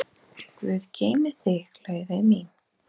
Guð geymi þig, Laufey mín.